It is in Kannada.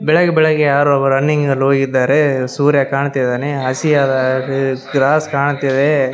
ಬೆಳಗ್ಗೆ ಬೆಳಗ್ಗೆ ಯಾರೋ ರನ್ನಿಂಗ್ನಲ್ಲೊ ಇದ್ದಾರೆ ಸೂರ್ಯ ಕಾಣ್ತಿದ್ದಾನೆ ಹಸಿಯಾದ ಗಾ ಗ್ರಾಸ್ ಕಾಣ್ತಿದೇ.